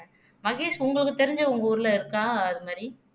மகேஷ் உங்களுக்கு தெரிஞ்ச உங்க ஊர்ல இருக்கா அது மாதிரி